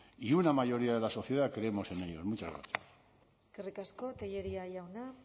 y una mayoría de la sociedad creemos en ellos muchas gracias eskerrik asko tellería jauna